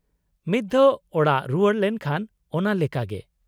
-ᱢᱤᱫ ᱫᱷᱟᱣ ᱚᱲᱟᱜ ᱨᱩᱣᱟᱹᱲ ᱞᱮᱱᱠᱷᱟᱱ ᱚᱱᱟ ᱞᱮᱠᱟ ᱜᱮ ᱾